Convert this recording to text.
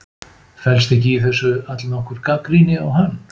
Felst ekki í þessu allnokkur gagnrýni á hann?